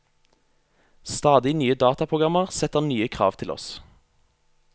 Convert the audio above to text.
Stadig nye dataprogrammer setter nye krav til oss.